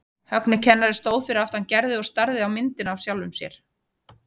Högni kennari stóð fyrir aftan Gerði og starði á myndina af sjálfum sér.